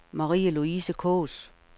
Marie-Louise Kaas